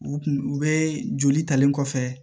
U kun u bɛ joli talen kɔfɛ